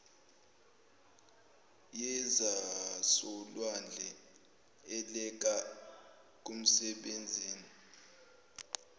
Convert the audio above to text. yezasolwandle elekela kumsebenzini